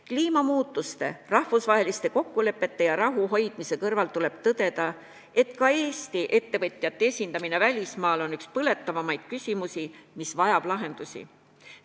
Kliimamuutustega võitlemise, rahvusvaheliste kokkulepete sõlmimise ja rahu hoidmise kõrval tuleb tõdeda, et ka Eesti ettevõtjate esindamine välismaal on üks põletavamaid küsimusi, mis vajab lahendust.